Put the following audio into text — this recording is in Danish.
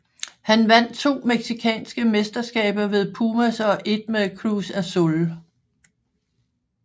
Han vandt to mexicanske mesterskaber med Pumas og ét med Cruz Azul